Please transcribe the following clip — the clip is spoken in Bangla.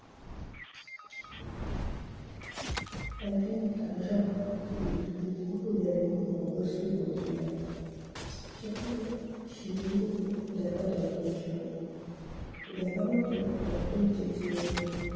একদিন তারাশঙ্কর একটি লেখা দিতে গেলেন বঙ্গশ্রী পত্রিকায়। সেখানে সিঁড়ির মুখে দেখা দপ্তরির সঙ্গে। দেখা মাত্র দপ্তরি চেঁচিয়ে উঠলেন,